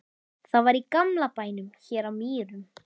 Það var í gamla bænum hér á Mýrum.